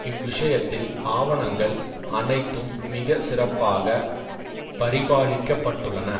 இவ்விஷயத்தில் ஆவணங்கள் அனைத்தும் மிக சிறப்பாக பரிபாலிக்கப்பட்டுள்ளன